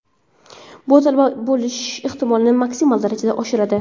Bu talaba bo‘lish ehtimolini maksimal darajada oshiradi.